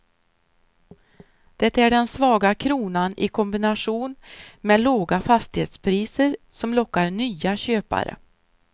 Det är den svaga kronan i kombination med låga fastighetspriser som lockar nya köpare.